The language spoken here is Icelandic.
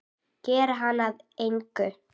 Gera hana að engu.